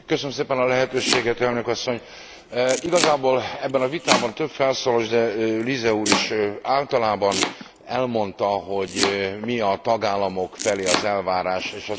Igazából ebben a vitában több felszólaló, de Liese úr is általában elmondta, hogy mi a tagállamok felé az elvárás, és azt is elmondta, hogy a fogyasztókkal is beszéltek.